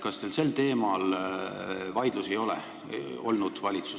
Kas teil sel teemal valitsuses vaidlusi ei ole olnud?